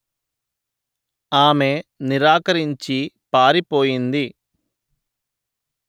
ఆమె నిరాకరించి పారిపోయింది